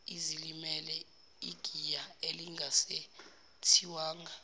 ezilimele igiya elingasethiwanga